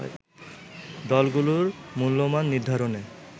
দলগুলোর মূল্যমান নির্ধারণে